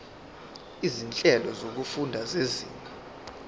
izinhlelo zokufunda zezinga